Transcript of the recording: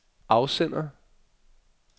afsender